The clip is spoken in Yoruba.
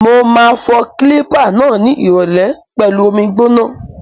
Mo ma fọ kílípà náà ni ìrọ̀lẹ́ pẹlu omi gbóná.